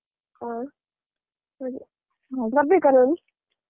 ಹ ಸರಿ .